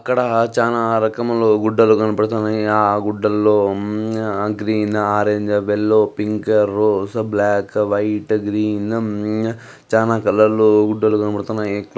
ఇక్కడ చానా రకములు గుడ్డలు కనపడుతున్నాయి. ఆ గుడ్డలో green orange yellow pink rose black white green చానా కలరు గుడ్డలు కనపడుతున్నాయి.